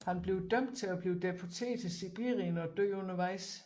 Han bliver dømt til at blive deporteret til Sibirien og dør undervejs